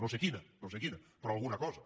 no sé quina no sé quina però alguna cosa